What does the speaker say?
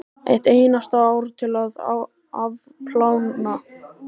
Eitt einasta ár til að afplána.